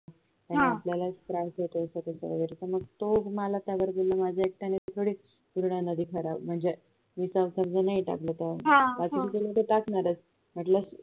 त्यांनी आपल्यालाच त्रास होतोय असं तस वगैरे पण मग तो मला त्यावर बोलला माझ्या एकट्याने थोडी पूर्ण नदी खराब म्हणजे विचार कारण नाही टाकलं तेव्हा टाकणारच